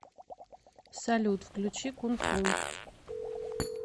салют включи кунфу